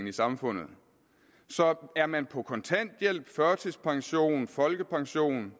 i samfundet så er man på kontanthjælp førtidspension folkepension